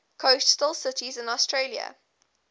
coastal cities in australia